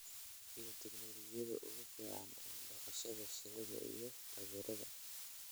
iyo tignoolajiyada ugu fiican ee dhaqashada shinnida iyo taageerada